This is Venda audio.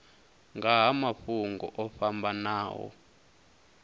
nga ha mafhungo o fhambanaho